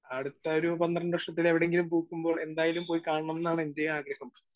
Speaker 1 അടുത്ത ഒരു പന്ത്രണ്ട് വർഷത്തിൽ എവിടെയെങ്കിലും പൂക്കുമ്പോൾ എന്തായാലും പോയി കാണണം എന്നാണ് എന്റെയും ആഗ്രഹം.